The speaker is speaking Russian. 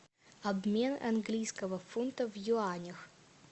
обмен английского фунта в юанях